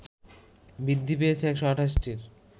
বৃদ্ধি পেয়েছে ১২৮টির